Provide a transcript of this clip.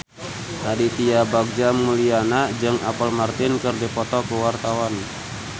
Aditya Bagja Mulyana jeung Apple Martin keur dipoto ku wartawan